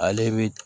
Ale bi